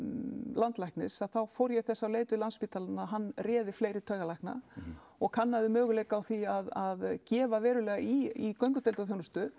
landlæknis þá fór ég þessa leit við Landsspítalann að hann réði fleiri taugalækna og kannaði möguleika á því að gefa verulega í í göngudeildar þjónustu